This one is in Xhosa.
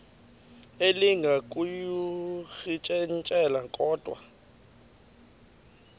elinga ukuyirintyela kodwa